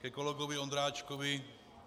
Ke kolegovi Ondráčkovi.